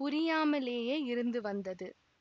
புரியாமலேயே இருந்து வந்தது